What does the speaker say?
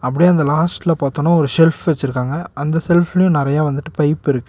அப்படியே அந்த லாஸ்ட்ல பாத்தோன ஒரு செல்ஃப் வெச்சிருக்காங்க அந்த செல்ஃபிலயு நெறைய வந்துட்டு பைப்பிருக்கு .